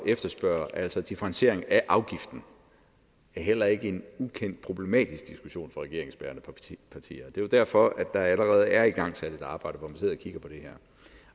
efterspørger altså differentiering af afgiften er heller ikke en ukendt problematisk diskussion for regeringsbærende partier og det er jo derfor at der allerede er igangsat et arbejde hvor man sidder og kigger på det her